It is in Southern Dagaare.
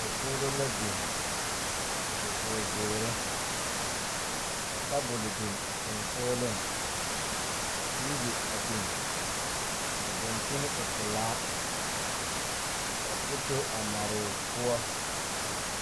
Dakogre la biŋ ka noba are kɔŋ a bamine deɛ ba tangaare mire tratara kyɛ a tratare.